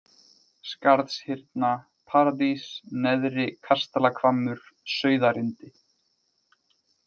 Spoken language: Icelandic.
Skarðshyrna, Paradís, Neðri-Kastalahvammur, Sauðarindi